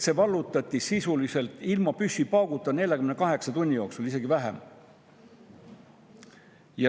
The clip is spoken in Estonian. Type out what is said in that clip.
See vallutati sisuliselt ilma püssipauguta 48 tunni jooksul, isegi kiiremini.